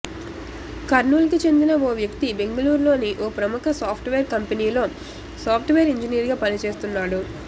కర్నూలుకు చెందిన ఓ వ్యక్తి బెంగళూరులోని ఓ ప్రముఖ సాఫ్ట్వేర్ కంపెనీలో సాఫ్ట్వేర్ ఇంజినీర్గా పని చేస్తున్నాడు